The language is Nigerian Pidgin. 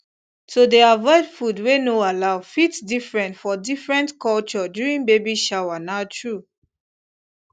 to dey avoid food wey no allow fit different for different culture during baby shower na true